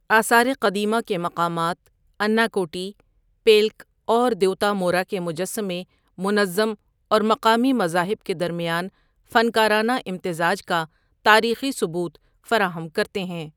آثار قدیمہ کے مقامات اناکوٹی، پیلک اور دیوتامورا کے مجسمے منظم اور مقامی مذاہب کے درمیان فنکارانہ امتزاج کا تاریخی ثبوت فراہم کرتے ہیں۔